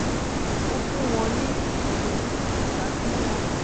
ó fún wọn ní itoni nípa bí wón